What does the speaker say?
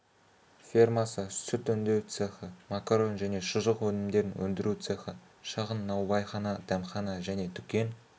фермасы сүт өңдеу цехі макарон және шұжық өнімдерін өндіру цехі шағын наубайхана дәмхана және дүкен